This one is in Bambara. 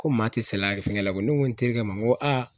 Ko maa te saliya fɛngɛ la koyi . Ne ko n terikɛ ma n ko aa